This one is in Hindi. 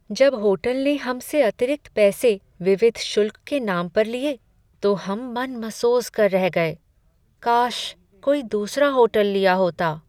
जब होटल ने हमसे अतिरिक्त पैसे विविध शुल्क के नाम पर लिए, तो हम मन मसोस कर रह गए। काश कोई दूसरा होटल लिया होता।